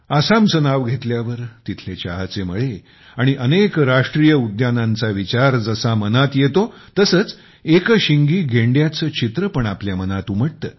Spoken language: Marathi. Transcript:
आसामचे नाव घेतल्यावर तिथले चहाचे मळे आणि अनेक नॅशनल पार्कसचा विचार जसा मनात येतो तसेच एकशिंगी गेंड्याचे चित्र पण आपल्या मनात उमटते